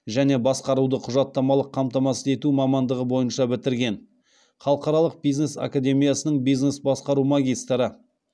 және басқаруды құжаттамалық қамтамасыз ету мамандығы бойынша бітірген халықаралық бизнес академиясының бизнес басқару магистрі